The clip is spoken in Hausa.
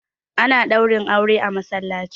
ana Ɗaurin aure a masallaci